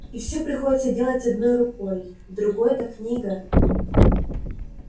и всё приходится делать одной рукой в другой-то книга